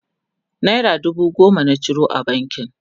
naira dubu goma na ciro a bankin